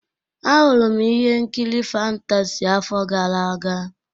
A hụrụ m ihe nkiri fantasị afọ gara aga.